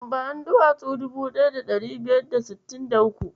Bani duwatsu dubu ɗaya da ɗari biyar da sittin da uku.